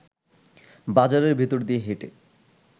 বাজারের ভেতর দিয়ে হেঁটে